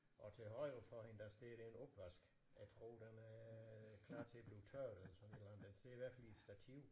Og til højre for hende der står der en opvask jeg tror den er klar til at blive tørret eller sådan et eller andet den står i hvert fald i et stativ